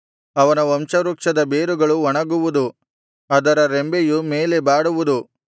ಅವನ ವಂಶವೃಕ್ಷದ ಬೇರುಗಳು ಒಣಗುವುದು ಅದರ ರೆಂಬೆಯು ಮೇಲೆ ಬಾಡುವುದು